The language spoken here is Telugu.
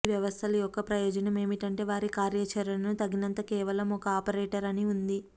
ఈ వ్యవస్థలు యొక్క ప్రయోజనం ఏమిటంటే వారి కార్యాచరణను తగినంత కేవలం ఒక ఆపరేటర్ అని ఉంది